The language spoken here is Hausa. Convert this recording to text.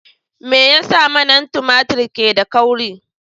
Me yasa manan tumatur ke da kauri?